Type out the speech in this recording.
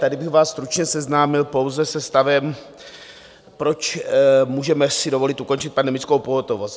Tady bych vás stručně seznámil pouze se stavem, proč si můžeme dovolit ukončit pandemickou pohotovost.